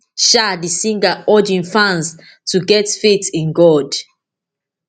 um di singer urge im fans to get faith in god